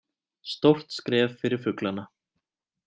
Stórt skref fyrir fuglana